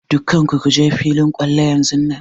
Dukkan ku kuje filin kwallo yanzunnan!